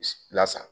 Lasa